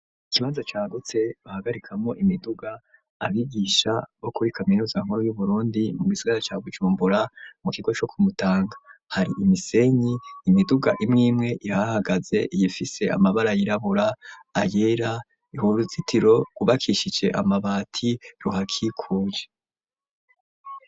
Ikibanza cagutse bahagarikamwo imiduga, abigisha bo kuri Kaminuza nkuru y'uburundi mu gisigara ca gucumbura, mu kigo co ku mutanga hari imisenyi, imiduga imwimwe ihahagaze ifise amabara yirabura, ayera, uruzitiro rwubakishije amabati ruhakikuje.